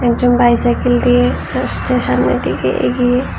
কিছু বাইসাইকেল দিয়ে আসছে সামনের দিকে এগিয়ে।